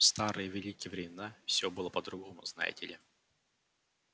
в старые великие времена всё было по-другому знаете ли